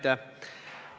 Aitäh!